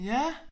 Ja